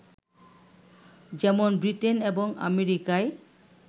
যেমন ব্রিটেন এবং আমেরিকায়